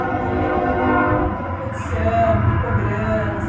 Porque muita competição, muita cobrança.